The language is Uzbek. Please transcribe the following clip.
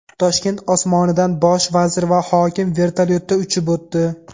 Toshkent osmonidan Bosh vazir va hokim vertolyotda uchib o‘tdi .